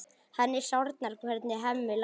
Henni sárnar hvernig Hemmi lætur.